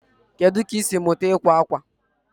Kedu ka ị siri mụta ịkwa akwa?